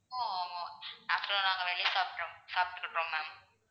ஆஹ் ஆமா afternoon நாங்க வெளிய சாப்பிடுறோம் சாப்பிட்டுக்கிறோம் ma'am